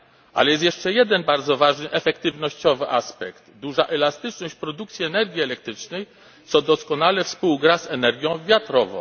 Ale jest jeszcze jeden bardzo ważny efektywnościowy aspekt duża elastyczność produkcji energii elektrycznej, co doskonale współgra z energią wiatrową.